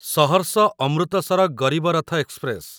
Saharsa Amritsar Garib Rath express